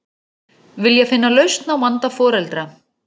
Vilja finna lausn á vanda foreldra